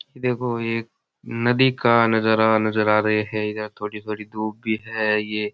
देखो एक नदी का नजारा नजर आ रियो है यहाँ थोड़ी बड़ी धुप भी है ये --